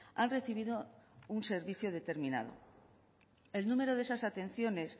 han recibido un servicio determinado el número de esas atenciones